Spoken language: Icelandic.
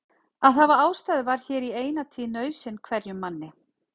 Að hafa ástæðu var hér í eina tíð nauðsyn hverjum manni.